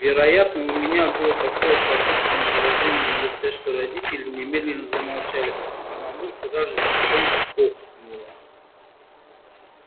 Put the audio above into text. вероятно у меня было такое торжественное выражение на лице что родители немедленно замолчали а мамулька даже тихонько охнула